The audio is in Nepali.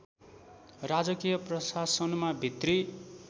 राजकीय प्रशासनमा भित्री